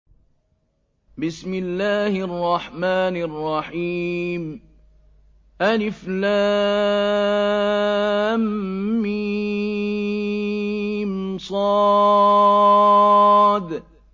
المص